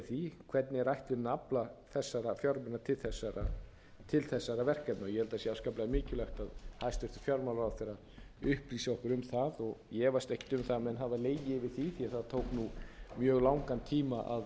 því hvernig er ætlunin að afla þessara fjármuna til þessara verkefna og ég held að það sé afskaplega mikilvægt að hæstvirtur fjármálaráðherra upplýsi okkur um það og ég efast ekki um að menn hafi legið yfir því því það tók mjög langan tíma að